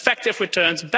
effective returns